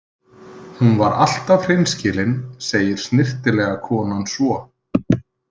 Hún var alltaf hreinskilin, segir snyrtilega konan svo.